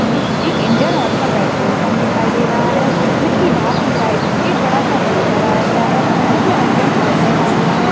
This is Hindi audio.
एक इंडियन ऑइल का पेट्रोल पम्प दिखाई दे रहा है जिसकी बाहर की साइड एक बड़ा सा बोर्ड लगाया गया है जिसमे अनडियन. ऑइल लिखा हुआ है।